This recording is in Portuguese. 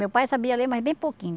Meu pai sabia ler, mas bem pouquinho.